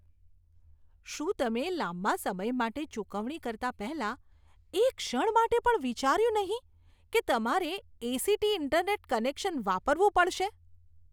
શું તમે લાંબા સમય માટે ચૂકવણી કરતા પહેલાં એક ક્ષણ માટે પણ વિચાર્યું નહીં કે તમારે એ.સી.ટી. ઇન્ટરનેટ કનેક્શન વાપરવું પડશે?